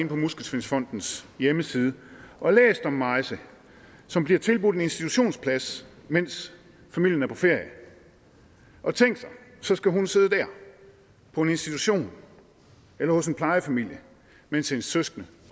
på muskelsvindfondens hjemmeside og læst om maise som bliver tilbudt en institutionsplads mens familien er på ferie og tænk sig så skal hun sidde der på en institution eller hos en plejefamilie mens hendes søskende